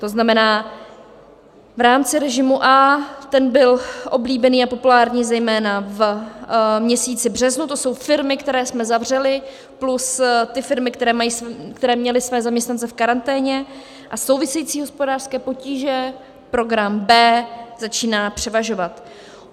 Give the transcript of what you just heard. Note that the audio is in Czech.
To znamená v rámci režimu A, ten byl oblíbený a populární zejména v měsíci březnu, to jsou firmy, které jsme zavřeli plus ty firmy, které měly své zaměstnance v karanténě, a související hospodářské potíže, program B, začíná převažovat.